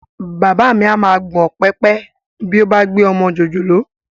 Bàbá mi á máa gbọ̀n pẹ̀pẹ̀ bí ó bá gbé ọmọ jòjòló